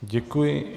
Děkuji.